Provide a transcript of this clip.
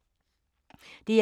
DR1